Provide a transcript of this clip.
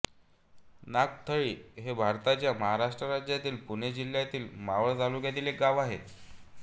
नागथळी हे भारताच्या महाराष्ट्र राज्यातील पुणे जिल्ह्यातील मावळ तालुक्यातील एक गाव आहे